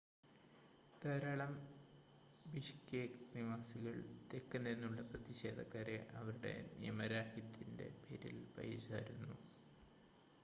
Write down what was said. ധാരാളം ബിഷ്കെക് നിവാസികൾ തെക്ക് നിന്നുള്ള പ്രതിഷേധക്കാരെ അവരുടെ നിയമരാഹിത്യത്തിൻ്റെ പേരിൽ പഴിചാരുന്നു